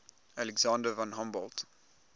alexander von humboldt